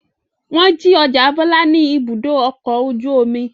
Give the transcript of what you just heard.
Wọ́n jí ọjà Bọ́lá ní Ibùdó-ọkọ̀ ojú-omi.